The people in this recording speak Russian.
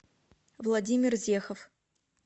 владимир зехов